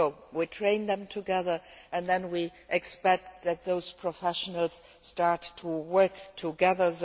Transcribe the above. We train them together, and then we expect those professionals start to work together.